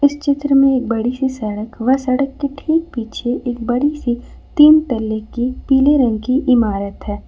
इस चित्र में एक बड़ी सी सड़क व सड़क ठीक पीछे एक बड़ी सी तीन तल्ले की पीले रंग की इमारत है।